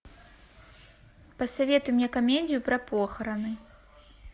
посоветуй мне комедию про похороны